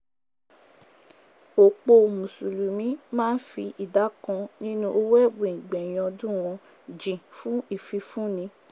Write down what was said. òpò mùsùlùmí máá n fi ìdá kan nínu owò ẹ̀bùn ìgbẹ̀yìn ọdún wọn jìn fùn ìfifúni